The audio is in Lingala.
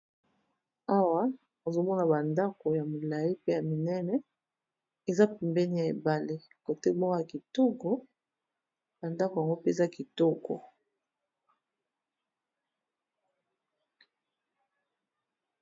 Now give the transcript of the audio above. Awa ozo mona ba ndako ya molayi pe ya minene, eza pembeni ya ebale cote moko ya kitoko ba ndako yango pe eza kitoko.